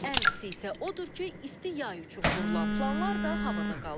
Ən pisi isə odur ki, isti yay üçün qurulan planlar da havada qalıb.